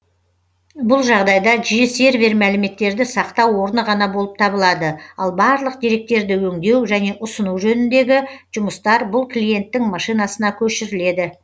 бұл жағдайда жиі сервер мәліметтерді сақтау орны ғана болып табылады ал барлық деректерді өңдеу және ұсыну жөніндегі жұмыстар бұл клиенттің машинасына көшіріледі